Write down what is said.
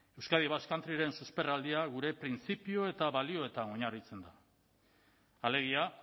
euskadi basque country ren susperraldia gure printzipio eta balioetan oinarritzen da alegia